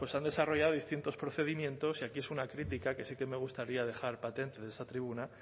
han desarrollado distintos procedimientos y aquí es una crítica que sí que me gustaría dejar patente en esta tribuna